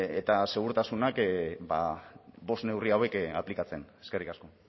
eta segurtasuna bost neurri hauek aplikatzen eskerrik asko